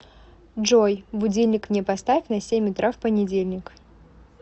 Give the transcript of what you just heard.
джой будильник мне поставь на семь утра в понедельник